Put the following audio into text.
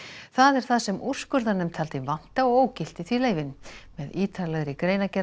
það er það sem úrskurðarnefnd taldi vanta og ógilti því leyfin með ítarlegri greinargerð